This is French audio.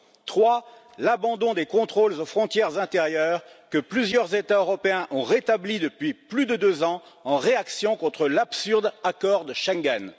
troisièmement, l'abandon des contrôles aux frontières intérieures que plusieurs États européens ont rétablis depuis plus de deux ans en réaction contre l'absurde accord de Schengen.